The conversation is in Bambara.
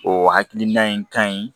O hakilina in ka ɲi